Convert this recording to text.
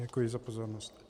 Děkuji za pozornost.